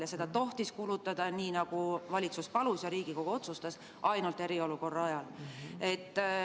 Ja seda tohtiski kulutada, nii nagu valitsus palus ja Riigikogu otsustas, ainult eriolukorra ajal.